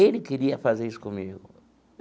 Ele queria fazer isso comigo.